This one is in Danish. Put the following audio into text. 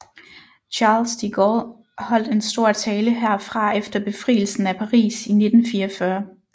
Charles de Gaulle holdt en stor tale herfra efter befrielsen af Paris i 1944